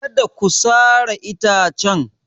Kada ku sare itacen!